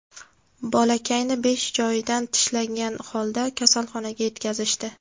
Bolakayni besh joyidan tishlangan holda kasalxonaga yetkazishdi.